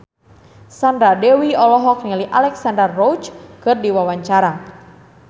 Sandra Dewi olohok ningali Alexandra Roach keur diwawancara